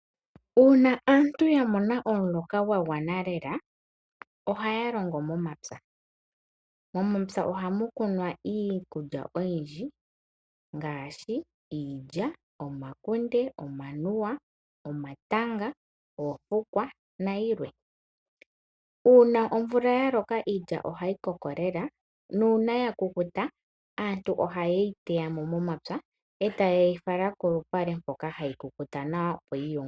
Uuna aantu ya mona omuloka gwa gwana lela ohaya longo momappya. Momapya ohamu kunwa iikulya oyindji ngaashi: iilya, omakunde, omanuwa, omatanga, oofukwa nayilwe. Uuna omvula ya loka iilya ohayi koko lela nuuna ya kukuta aantu ohaye yi teya mo momapya, e taye yi fala kolupale mpoka hayi kukuta nawa, opo yi yungulwe.